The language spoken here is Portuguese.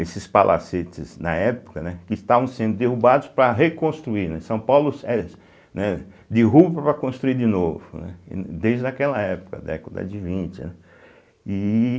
Esses palacetes, na época, né, que estavam sendo derrubados para reconstruir, né São Paulo, seh, eh né, derrubam para construir de novo, né, desde aquela época, década de vinte, né, e